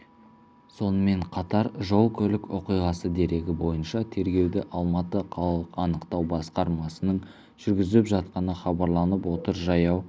сонымен қатар жол-көлік оқиғасы дерегі бойынша тергеуді алматы қалалық анықтау басқармасының жүргізіп жатқаны хабарланып отыр жаяу